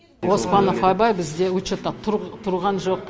оспанов абай бізде учетта тұрған жоқ